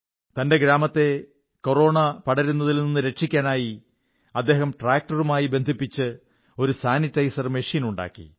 തന്റെ ഗ്രാമത്തെ കൊറോണ പടരുന്നതിൽ നിന്നു രക്ഷിക്കാനായി അദ്ദേഹം ട്രാക്ടറുമായി ബന്ധിപ്പിച്ച് ഒരു സാനിട്ടൈസർ മെഷീനുണ്ടാക്കി